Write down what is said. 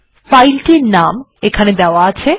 file টির নাম এখানে দেওয়া রয়েছে